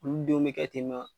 Olu denw be kɛ ten